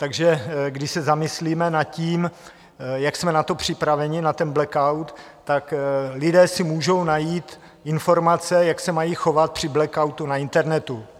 Takže když se zamyslíme nad tím, jak jsme na to připraveni, na ten blackout, tak lidé si můžou najít informace, jak se mají chovat při blackoutu na internetu.